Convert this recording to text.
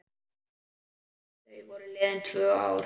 Þá voru liðin tvö ár.